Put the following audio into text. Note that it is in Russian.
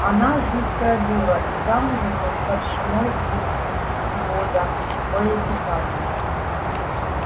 она жуткая дура и замужем за старшиной из взвода боепитания